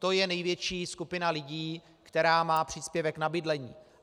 To je největší skupina lidí, která má příspěvek na bydlení.